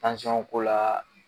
ko laa